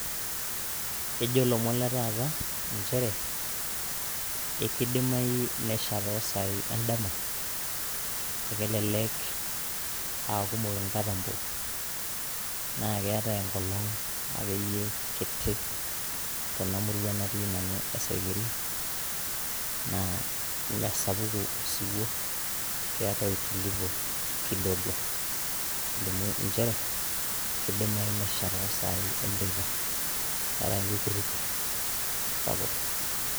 ejo lomon letaata nchere, ekidimayu nesha toosai edama, ekelelek aakumok inkatambo, naa keetae enkolong akeyie kiti. tenamurua natii nanu esaikeri, naa mme sapuku osiwuo. keetae utulivu kidogo ekelimu nchere kidimayu nesha toosai enteipa, eetae enkikurukur sapuk.